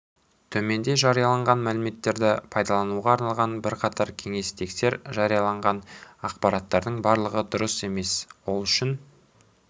төменде жарияланған мәліметтерді пайдалануға арналған бірқатар кеңес тексер жарияланған ақпараттардың барлығы дұрыс емес ол үшін